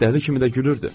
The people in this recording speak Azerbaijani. Dəli kimi də gülürdü.